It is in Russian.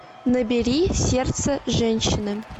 набери сердце женщины